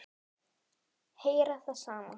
Heyra það sama.